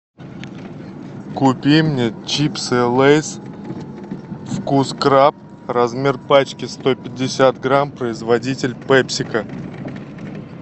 купи мне чипсы лейс вкус краб размер пачки сто пятьдесят грамм производитель пепсико